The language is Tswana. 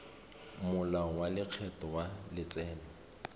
molao wa lekgetho wa letseno